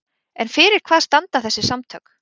En fyrir hvað standa þessi samtök?